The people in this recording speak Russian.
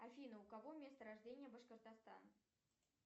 афина у кого место рождения башкортостан